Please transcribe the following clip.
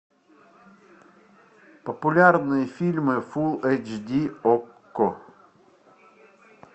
популярные фильмы фул эйч ди окко